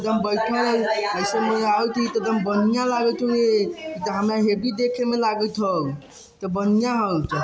बैठा है ऐसे में बढ़िया लागतो है हैवी देखे में लागतो है इ तो बढ़िया हो।